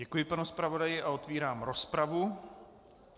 Děkuji panu zpravodaji a otevírám rozpravu.